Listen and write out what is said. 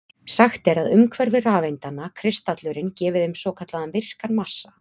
Sagt er að umhverfi rafeindanna, kristallurinn, gefi þeim svo kallaðan virkan massa.